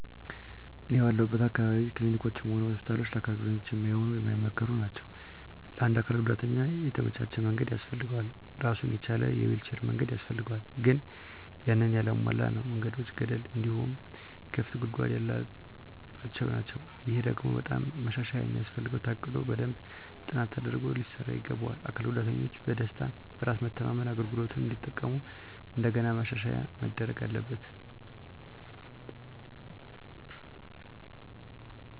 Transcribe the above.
እኔ ባለሁለት አካባቢ ክሊኒኮችም ሆነ ሆስፒታሎች ለአካል ጉዳተኛ ማይሆኑ ማይመከሩ ናቸው። ለአንድ አካል ጉዳተኛ የተመቻቸ መንገድ ያስፈልገዋል እራሱን የቻለ የዊልቸር መንገድ ያስፈልጋል ግን ያንን ያላሟላ ነው። መንገዶቹ ገደል እንዲሁም ክፍት ጉድጓድ ያለባቸው ናቸው። ይሄ ደግሞ በጣም ማሻሻያ የሚያስፈልገው ታቅዶ በደንብ ጥናት ተደርጎ ሊሰራ ይገባዋል። አካል ጉዳተኞች በደስታ፣ በራስ መተማመን አገልግሎቱን እንዲጠቀሙ ከእንደገና ማሻሻያ መደረግ አለበት።